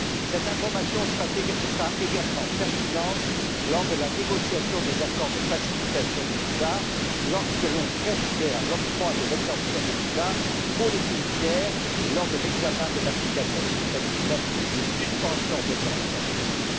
Cette information sera également pertinente lors de la négociation des accords de facilitation de délivrance de visas, au moment d'envisager l'octroi d'une exemption de visa pour les pays tiers et lors de l'examen de l'application du mécanisme de suspension d'exemption de visa.